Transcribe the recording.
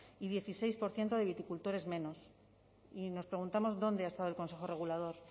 y dieciséis por ciento de viticultores menos y nos preguntamos dónde ha estado el consejo regulador